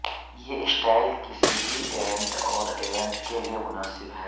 یہ اسٹائل کسی بھی ایونٹ اور ایونٹ کے لئے مناسب ہے